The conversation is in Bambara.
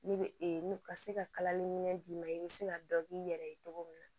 Ne bɛ ka se ka kalali minɛn d'i ma i bɛ se ka dɔ k'i yɛrɛ ye cogo min na